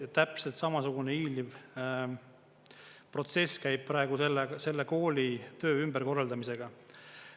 Ja täpselt samasugune hiiliv protsess käib praegu selle kooli töö ümberkorraldamisega.